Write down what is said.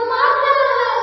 vandemataram